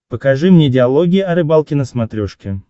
покажи мне диалоги о рыбалке на смотрешке